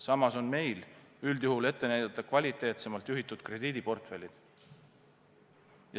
Samas on meil üldjuhul ette näidata kvaliteetsemalt juhitud krediidiportfellid.